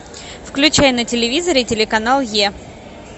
включай на телевизоре телеканал е